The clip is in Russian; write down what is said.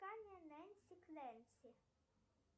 нэнси к нэнси